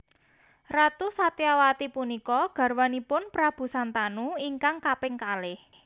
Ratu Satyawati punika garwanipun Prabu Santanu ingkang kaping kalih